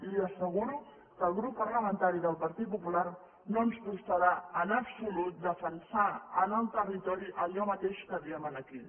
li asseguro que al grup parlamentari del partit popular no ens costarà en absolut defensar en el territori allò mateix que diem aquí